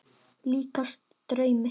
Líkast draumi.